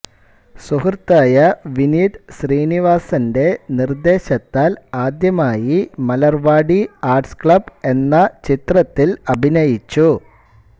സുഹൃത്തായ വിനീത് ശ്രീനിവാസന്റെ നിർദ്ദേശത്താൽ ആദ്യമായി മലർവാടി ആർട്സ് ക്ലബ് എന്ന ചിത്രത്തിൽ അഭിനയിച്ചു